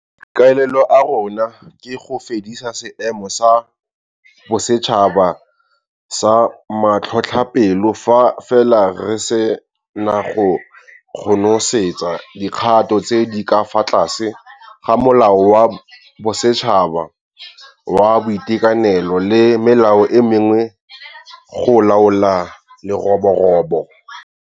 Maikaelelo a rona ke go fedisa Seemo sa Bosetšhaba sa Matlhotlhapelo fa fela re se na go konosetsa dikgato tse di ka fa tlase ga Molao wa Bosetšhaba wa Boitekanelo le melao e mengwe go laola leroborobo,